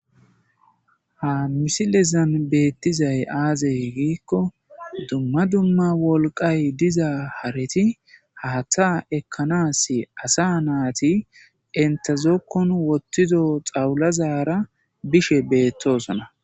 Ha misilezan beettizay aazey giikko dumma dumma wolqay diza hareti hatta ekkanas asa naati intezokkon wottido xawulazara bishe beettosona